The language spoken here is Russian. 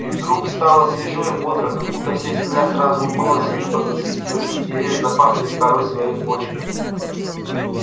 и вдруг стало свежо и бодро как будто вся земля сразу умылась и небо засветилось и все деревья запахли корой своей почками